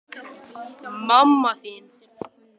Kristján: Spáirðu nokkrum vikum mánuðum?